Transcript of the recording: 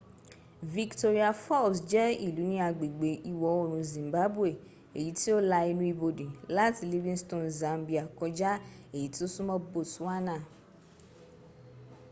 victoria falls je ilu ni agbegbe iwo oorun zimbabwe eyi ti o la enu ibode lati livingstone zambia koja eyi ti o sunmo botswana